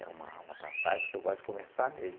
É uma uma passagem que eu gosto de conversar mesmo.